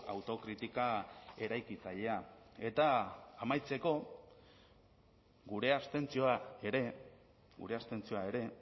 autokritika eraikitzailea eta amaitzeko gure abstentzioa ere gure abstentzioa ere